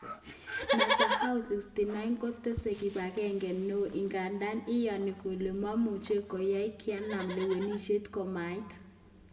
Netanyahu,69,kotese kibagenge neo ingandan iyoni kole moimuche koyai kinam lewenishet komait